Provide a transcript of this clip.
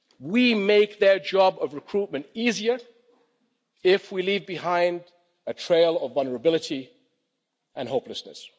We make their job of recruitment easier if we leave behind a trail of vulnerability and hopelessness.